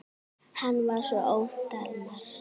Hann var svo ótal margt.